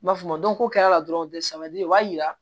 N b'a f'a ma ko kɛra dɔrɔn sɛbɛli o b'a yira